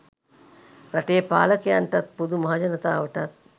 රටේ පාලකයන්ටත් පොදු මහජනතාවටත්